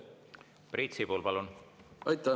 Priit Sibul, palun!